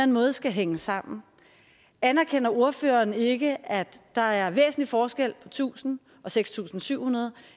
måde skal hænge sammen anerkender ordføreren ikke at der er væsentlig forskel på tusind og seks tusind syv hundrede